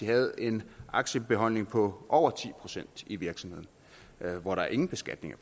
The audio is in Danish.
havde en aktiebeholdning på over ti procent i virksomheden hvor der ingen beskatning